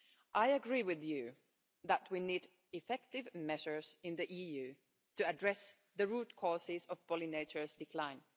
I agree with you that we need effective measures in the EU to address the root causes of pollinators' decline.